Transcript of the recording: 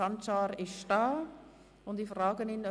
Sancar hat sich angemeldet.